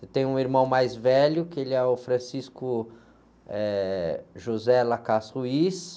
Eu tenho um irmão mais velho, que ele é o.